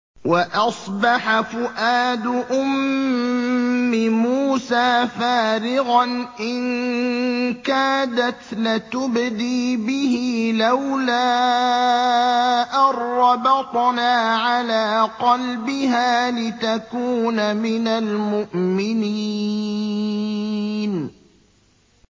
وَأَصْبَحَ فُؤَادُ أُمِّ مُوسَىٰ فَارِغًا ۖ إِن كَادَتْ لَتُبْدِي بِهِ لَوْلَا أَن رَّبَطْنَا عَلَىٰ قَلْبِهَا لِتَكُونَ مِنَ الْمُؤْمِنِينَ